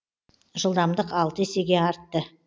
жылдамдық алты есеге артты